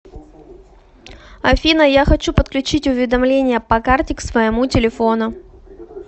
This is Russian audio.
афина я хочу подключить уведомления по карте к своему телефону